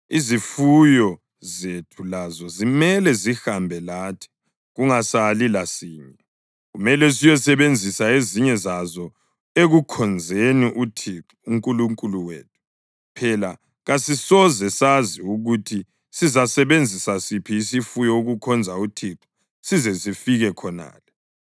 Izifuyo zethu lazo zimele zihambe lathi kungasali lasinye. Kumele siyosebenzisa ezinye zazo ekukhonzeni uThixo uNkulunkulu wethu. Phela kasisoze sazi ukuthi sizasebenzisa siphi isifuyo ukukhonza uThixo size sifike khonale.”